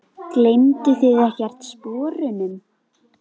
Gleymduð þið ekkert sporunum?